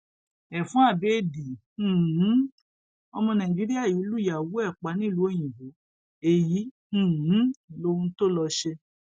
ẹfun abéèdì um ọmọ nàìjíríà yìí lùyàwó ẹ pa nílùú òyìnbó èyí um lohun tó lọ ṣe